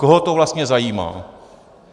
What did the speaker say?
Koho to vlastně zajímá?